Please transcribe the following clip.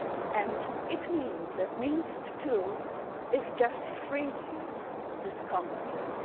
and it means that Minsk too is just freezing this conflict.